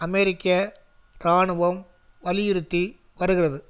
அமெரிக்க இராணுவம் வலியுறுத்தி வருகிறது